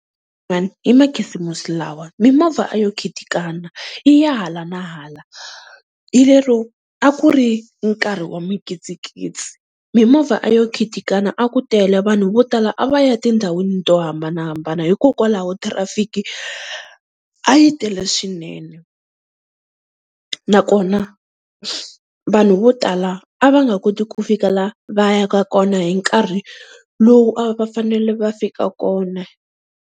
Hi makhisimusi lawa mimovha a yo khitikana yi ya hala na hala, hi lero a ku ri nkarhi wa mikitsikitsi mimovha a yo khitikana a ku tele vanhu vo tala a va ya tindhawini to hambanahambana hikokwalaho thirafiki a yi tele swinene, nakona vanhu vo tala a va nga koti ku fika la va yaka kona hi nkarhi lowu a va fanele va fika kona.